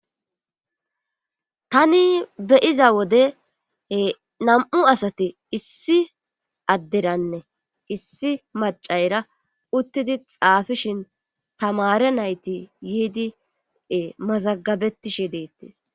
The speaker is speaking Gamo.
tani beyiza wode nam7u asati issi adderanne issi macayra uttidi xaafishin tamare nayti yiidi mazagabetishe deettes